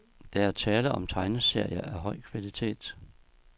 Der er tale om tegneserier af høj kvalitet.